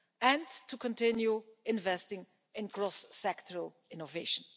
and to continue investing in cross-sectoral innovation.